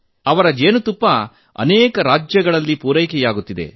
ಅವರ ಜೇನುತುಪ್ಪ ಅನೇಕ ರಾಜ್ಯಗಳಿಗೆ ಪೂರೈಕೆಯಾಗುತ್ತಿದೆ